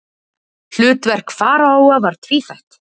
Hlutverk faraóa var tvíþætt.